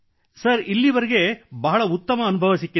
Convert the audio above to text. sir ಇಲ್ಲಿವರೆಗೆ ಬಹಳ ಉತ್ತಮ ಅನುಭವ ದೊರೆತಿದೆ